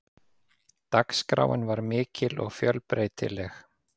Dagskráin var mikil og fjölbreytileg.